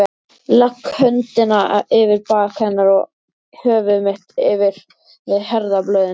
Legg höndina yfir bak hennar og höfuð mitt við herðablöðin.